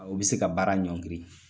Ɔ i bɛ se ka baara ɲɔngiri